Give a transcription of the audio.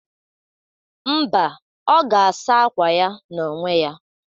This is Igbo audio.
Mba, ọ ga-asa akwa ya n'onwe ya.